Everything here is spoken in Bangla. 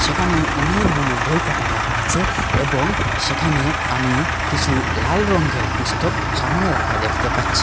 এখানে অনেকগুলো বই খাতা রাখা আছে এবং সেখানে আমি কিছু লাল রঙ্গের পুস্তক সামোনে রাখা দেখতে পাচ্ছি।